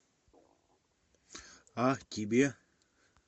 а тебе